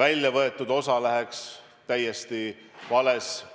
välja võetud raha kasutatakse täiesti valeks otstarbeks.